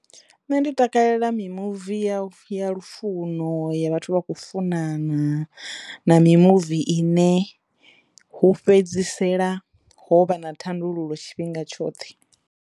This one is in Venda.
Nṋe ndi takalela mimuvi ya ya lufuno ya vhathu vha khou funana na mimuvi ine hu fhedzisela ho vha na thandululo tshifhinga tshoṱhe.